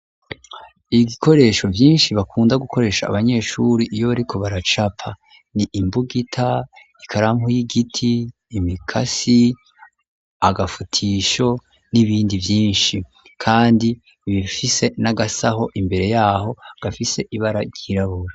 Ibikoresho vyinshi bakunda gukoresha abanyeshure iyo ariko baracapa ni imbugita, ikarampu y'igiti, imikasi agafutisho n'ibindi vyinshi kandi bifise n'agasaho imbere yaho gafise ibara ryirabura.